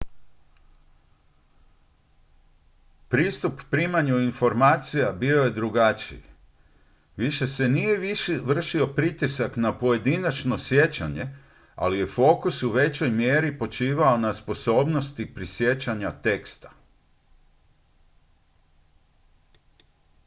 pristup primanju informacija bio je drugačiji više se nije vršio pritisak na pojedinačno sjećanje ali je fokus u većoj mjeri počivao na sposobnosti prisjećanja teksta